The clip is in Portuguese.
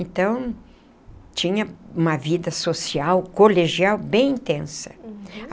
Então, tinha uma vida social, colegial, bem intensa.